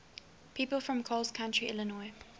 people from coles county illinois